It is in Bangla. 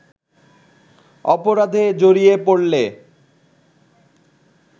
অপরাধে জড়িয়ে পড়লে